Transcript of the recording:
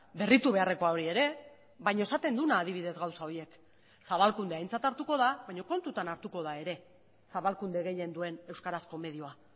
berritu beharrekoa hori ere baina esaten duena adibidez gauza horiek zabalkundea aintzat hartuko da baina kontutan hartuko da ere zabalkunde gehien duen euskarazko medioa